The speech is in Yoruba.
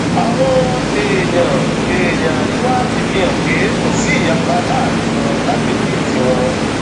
àwọn èèyàn èèyàn àríwá ti fi hàn pé kò sí ìyapa láàrin wọn lágbègbè tiwọn